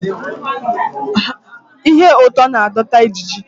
Ihe ụtọ na-adọta ijiji